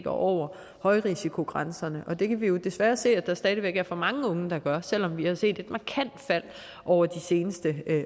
over højrisikogrænserne og det kan vi jo desværre se at der stadig væk er for mange unge der gør selv om vi har set et markant fald over de seneste